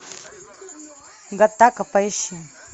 гаттака поищи